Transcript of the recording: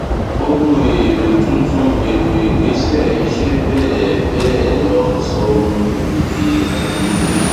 ohun èèlò tuntun ètò ìgbèsẹ iṣẹ bẹẹ bẹẹ lọ sọ ohun ìní di àìwúlò